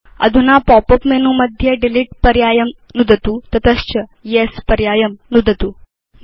अधुना pop up menu मध्ये delete पर्यायं नुदतु तत च येस् पर्यायं नुदतु